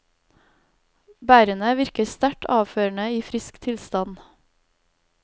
Bærene virker sterkt avførende i frisk tilstand.